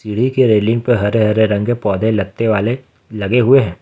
सीढ़ी के रेलिंग पर हरे हरे रंग के पौधे लगते वाले लगे हुए हैं।